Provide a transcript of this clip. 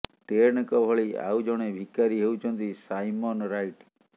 ଟେଡଙ୍କ ଭଳି ଆଉ ଜଣେ ଭିକାରୀ ହେଉଛନ୍ତି ସାଇମନ୍ ରାଇଟ୍